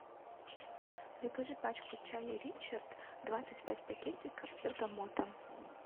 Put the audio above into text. закажи пачку чая ричард двадцать пять пакетиков с бергамотом